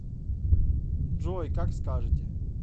джой как скажете